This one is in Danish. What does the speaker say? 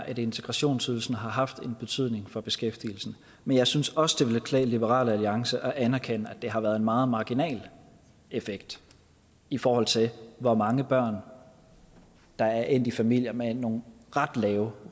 at integrationsydelsen har haft en betydning for beskæftigelsen men jeg synes også det ville klæde liberal alliance at anerkende at det har været en meget marginal effekt i forhold til hvor mange børn der er endt i familier med nogle ret lave